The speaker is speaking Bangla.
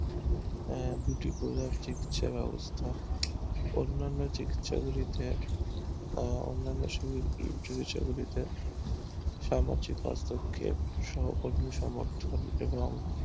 অবস্থা অন্নান্য চিকিৎসা ব্যবস্তা ও অন্নান্য চিকিৎসা গুলোতে ও অন্নান্য চিকিৎসা গুলোতে সামাজিক হস্তক্ষেপ সহকর্মী সমর্থন এবং